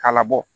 K'a labɔ